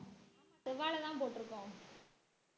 செவ்வாழைதான் போட்டிருக்கோம்